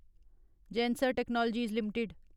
Zensar Technologies limited